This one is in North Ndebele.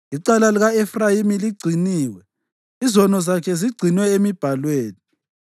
Icala lika-Efrayimi ligciniwe, izono zakhe zigcinwe emibhalweni.